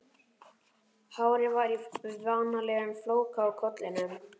Hárið var í vanalegum flóka á kollinum.